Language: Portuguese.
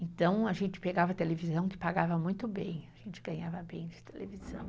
Então a gente pegava televisão que pagava muito bem, a gente ganhava bem de televisão.